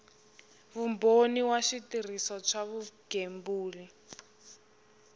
vumbhoni wa switirhiso swa vugembuli